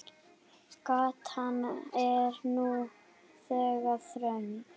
Gatan er nú þegar þröng.